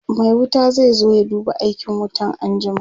Mai wuta zai zo ya duba aikin wutan anjima